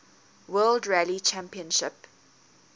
world rally championship